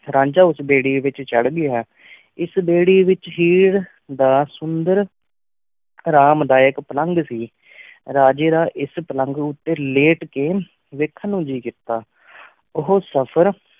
ਰਾਂਝਾ ਉਸ ਬੇੜੀ ਵਿਚ ਚੜ੍ਹ ਗਿਆ ਇਸ ਬੇੜੀ ਵਿਚ ਹੀਰ ਦਾ ਸੁੰਦਰ ਆਰਾਮ ਦਾਯਕ ਪਲੰਘ ਸੀ ਰਾਜੇ ਦਾ ਇਸ ਪਲਘ ਊਟੀ ਲੇਟ ਕੇ ਵੇਖਣ ਨੂ ਜੀ ਕੀਤਾ ਉਹ ਸਫ਼ਰ